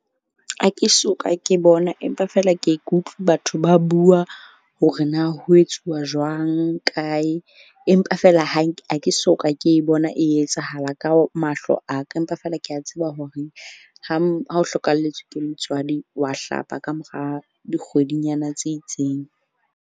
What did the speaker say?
Ha ke soka ke bona empa fela ke ye ke utlwi batho ba bua hore na ho etsuwa jwang, kae, empa feela ha ke soka ke e bona e etsahala ka mahlo aka. Empa feela ke a tseba horeng ha o hlokahalletswe ke motswadi wa hlapa ka mora dikgwedinyana tse itseng.